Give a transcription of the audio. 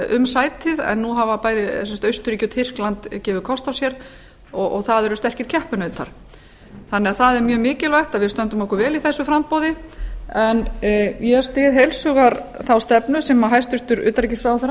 um sætið en nú hafa bæði austurríki og tyrkland gefið kost á sér og það eru sterkir keppinautar það er því mjög mikilvægt að við stöndum okkur vel í þessu framboði en ég styð heils hugar þá stefnu sem hæstvirtur utanríkisráðherra